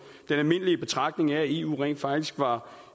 den almindelige betragtning er at eu rent faktisk var